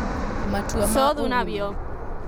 Matua ma Ũguni: